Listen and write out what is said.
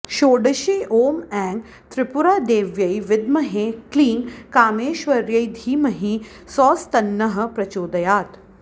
षोडशी ॐ ऐं त्रिपुरादेव्यै विद्महे क्लीं कामेश्वर्यै धीमहि सौस्तन्नः प्रचोदयात्